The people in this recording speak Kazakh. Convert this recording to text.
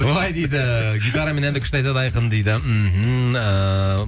былай дейді гитарамен әнді күшті айтады айқын дейді мхм ыыы